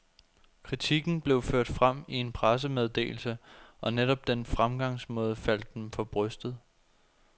Kritikken blev ført frem i en pressemeddelse, og netop den fremgangsmåde faldt dem for brystet.